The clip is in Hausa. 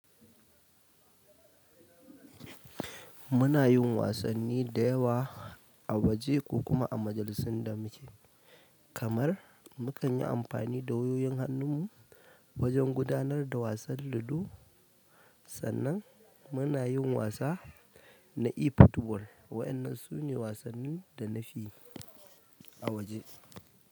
Muna yin wasanni da yawa, a waje ko kuma a majalisin da muke, kamar mu kan yi amfani da wayoyin hannun mu, wajen gudanar da wasan ludo. Sannan muna yin wasa, na efootball. Waɗannan su ne wasannin da na fi a waje.